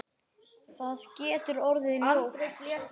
Það getur orðið ljótt.